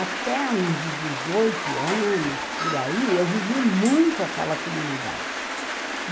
Até uns dezoito anos, por aí, eu vivi muito aquela comunidade.